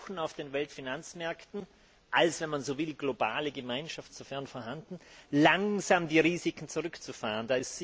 Wir versuchen auf den Weltfinanzmärkten als wenn man so will globale Gemeinschaft, sofern vorhanden, langsam die Risiken zurückzufahren.